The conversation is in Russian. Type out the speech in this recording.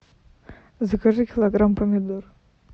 закажи килограмм помидор